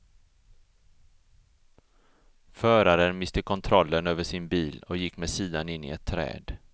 Föraren miste kontrollen över sin bil och gick med sidan in i ett träd.